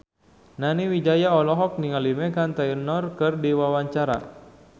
Nani Wijaya olohok ningali Meghan Trainor keur diwawancara